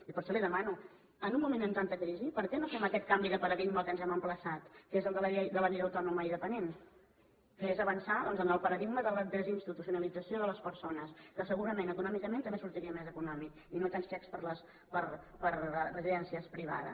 i per això li demano en un moment amb tanta crisi per què no fem aquest canvi de paradigma al qual ens hem emplaçat que és el de la llei de la vida autònoma i dependent que és avançar doncs en el paradigma de la desinstitucionalització de les persones que segurament econòmicament també sortiria més econòmic i no tants xecs per a residències privades